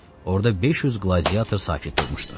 Orda 500 qladiator sakit durmuşdu.